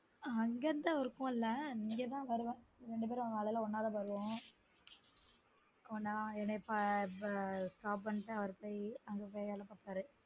அங்க இருந்து work பண்ணல இங்க தான் வருவோம் ரெண்டுபேரும் காலைல ஒன்னா தான் வருவோம் நான் என்னய stop பண்ணிட்டு அவரு போய் அங்க போய் வேல பாப்பாரு